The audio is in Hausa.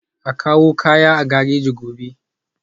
A kawo kayan a gareji gobe